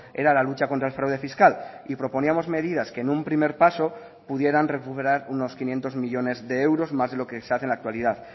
era la lucha contra el fraude fiscal y proponíamos medidas que en un primer paso pudieran recuperar unos quinientos millónes de euros más de lo que se hace en la actualidad